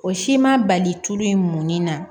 O si ma bali tulu in mɔnni na